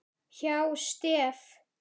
hjá STEF.